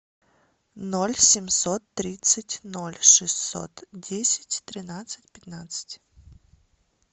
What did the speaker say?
ноль семьсот тридцать ноль шестьсот десять тринадцать пятнадцать